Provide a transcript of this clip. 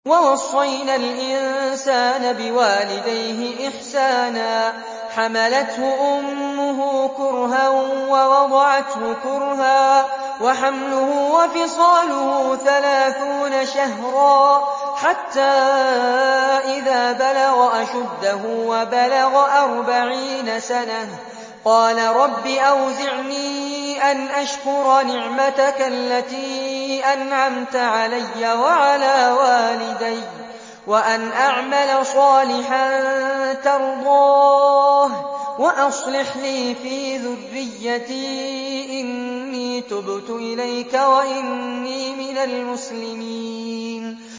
وَوَصَّيْنَا الْإِنسَانَ بِوَالِدَيْهِ إِحْسَانًا ۖ حَمَلَتْهُ أُمُّهُ كُرْهًا وَوَضَعَتْهُ كُرْهًا ۖ وَحَمْلُهُ وَفِصَالُهُ ثَلَاثُونَ شَهْرًا ۚ حَتَّىٰ إِذَا بَلَغَ أَشُدَّهُ وَبَلَغَ أَرْبَعِينَ سَنَةً قَالَ رَبِّ أَوْزِعْنِي أَنْ أَشْكُرَ نِعْمَتَكَ الَّتِي أَنْعَمْتَ عَلَيَّ وَعَلَىٰ وَالِدَيَّ وَأَنْ أَعْمَلَ صَالِحًا تَرْضَاهُ وَأَصْلِحْ لِي فِي ذُرِّيَّتِي ۖ إِنِّي تُبْتُ إِلَيْكَ وَإِنِّي مِنَ الْمُسْلِمِينَ